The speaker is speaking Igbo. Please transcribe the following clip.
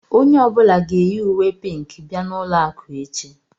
Onye ọ bụla ga-eyi uwé pínkì bia n'ụlọ akụ echi